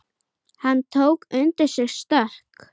Hann tók undir sig stökk.